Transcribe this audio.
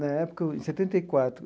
Na época, em setenta e quatro.